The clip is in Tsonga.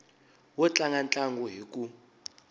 wo tlanga ntlangu hi ku